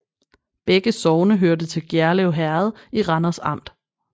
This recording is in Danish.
Begge sogne hørte til Gjerlev Herred i Randers Amt